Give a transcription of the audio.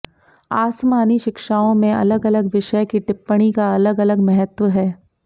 आसमानी शिक्षाओं में अलग अलग विषय की टिप्पणी का अलग अलग महत्व है